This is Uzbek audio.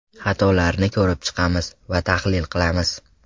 Xatolarni ko‘rib chiqamiz va tahlil qilamiz.